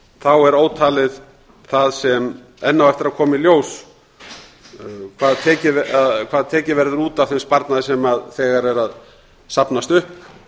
þá er ótalið það sem enn á eftir að koma í ljós hvað tekið verður út af þeim sparnaði sem þegar er að safnast upp